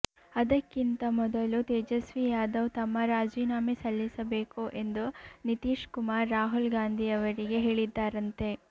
ಅದಕ್ಕಿಂತ ಮೊದಲು ತೇಜಸ್ವೀ ಯಾದವ್ ತಮ್ಮ ರಾಜೀನಾಮೆ ಸಲ್ಲಿಸಬೇಕು ಎಂದು ನಿತೀಶ್ ಕುಮಾರ್ ರಾಹುಲ್ ಗಾಂಧಿಯವರಿಗೆ ಹೇಳಿದ್ದಾರಂತೆ